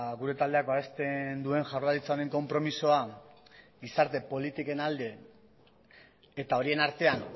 gure taldeak babesten duen jaurlaritzaren konpromisoa gizarte politiken alde eta horien artean